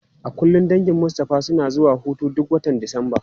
A kullum dangin Mustapha suna zuwa hutu duk watan Disamba.